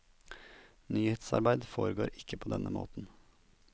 Nyhetsarbeid foregår ikke på den måten.